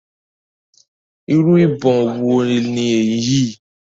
Irú ìbọn wo ni èyí?